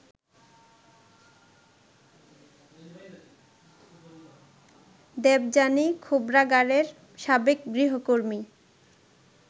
দেবযানী খোবরাগাড়ের সাবেক গৃহকর্মী